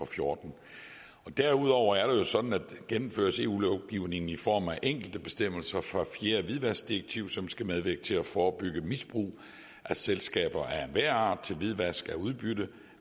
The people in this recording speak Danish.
fjorten derudover er det jo sådan at her gennemføres eu lovgivningen i form af de enkelte bestemmelser fra fjerde hvidvaskdirektiv som skal medvirke til at forebygge misbrug af selskaber af enhver art til hvidvask af udbytte